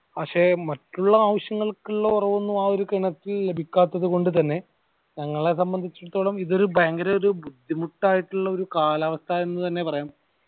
പക്ഷെ മറ്റുള്ള ആവിശ്യങ്ങൾക്കു ഇള്ള വെള്ളം ഒന്നു ആ ഒരു കിണറ്റിൽ നിന്നും ലഭിക്കാത്തതു കൊണ്ട് തന്നെ ഞങ്ങളെ സംബന്ധിച്ചു ഇത് ഒരു ഭയങ്കര ഒരു ബുദ്ധിമുട്ടായിട്ടുള്ള ഒരു കാലാവസ്ഥ എന്ന് തന്നെ പറയാം